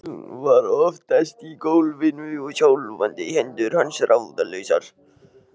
Pelinn var oftast í gólfinu og skjálfandi hendur manns ráðlausar.